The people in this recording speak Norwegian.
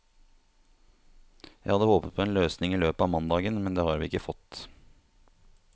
Jeg hadde håpet på en løsning i løpet av mandagen, men det har vi ikke fått.